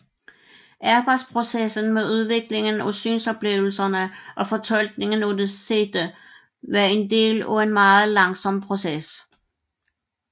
Arbejdsprocessen med udviklingen af synsoplevelserne og fortolkningen af det sete var en del af en meget langsom proces